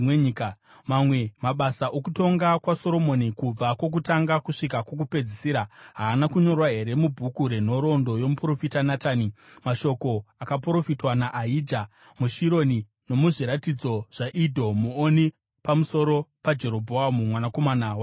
Mamwe mabasa okutonga kwaSoromoni kubva kwokutanga kusvika kwokupedzisira, haana kunyorwa here mubhuku renhoroondo yomuprofita Natani, mashoko akaprofitwa naAhija muShironi nomuzviratidzo zvaIdho muoni pamusoro paJerobhoamu mwanakomana waNebhati?